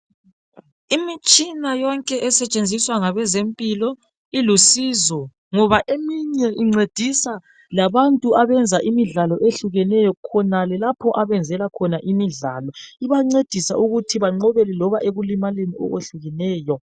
Imitshina yonke esetshenziswa ngabezempilo ilusizo ngoba eminye incedisa labantu abenza imidlalo ehlukeneyo khonale lapha abenzela khona imidlalo ,ibancedisa ukuthi benqobele loba ekulimaleni okwehlukeneyo.